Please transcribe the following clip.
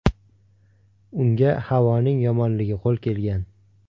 Unga havoning yomonligi qo‘l kelgan.